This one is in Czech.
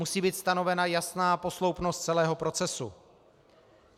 Musí být stanovena jasná posloupnost celého procesu.